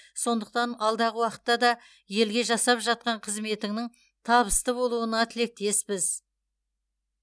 сондықтан алдағы уақытта да елге жасап жатқан қызметіңнің табысты болуына тілектеспіз